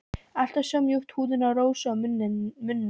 Alltaf svo mjúk húðin á Rósu og munnurinn.